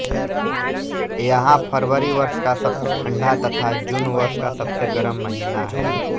यहाँ फरवरी वर्ष का सबसे ठंढा तथा जून वर्ष का सबसे गरम महीना है